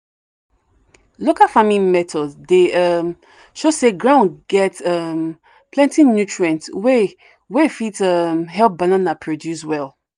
local farming methods dey um show say ground get um plenty nutrients wey wey fit um help banana produce well.